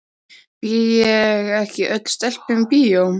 Býð ég ekki öllum stelpum í bíó?